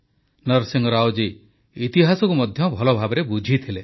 ନରସିଂହ ରାଓ ଜୀ ଇତିହାସକୁ ମଧ୍ୟ ଭଲଭାବେ ବୁଝିଥିଲେ